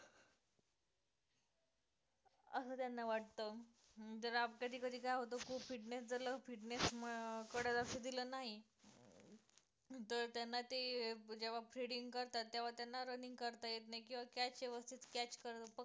असं त्यांना वाटतं अं जर आप कधी कधी काय होते खूप fitness जर fitness अं कडे लक्ष दिलं नाही, तर त्यांना ते जेव्हा fielding करतात तेव्हा त्यांना running करता येत नाही, किंवा catch व्यवस्थित catch पकड